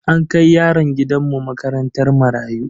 An kai yaron gidan mu makarantar marayu.